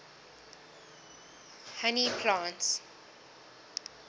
honey plants